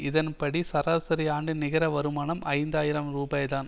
இதன் படி சராசரி ஆண்டு நிகர வருமானம் ஐந்து ஆயிரம் ரூபாய் தான்